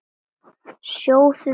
Sjóðið pasta.